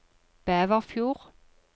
Bæverfjord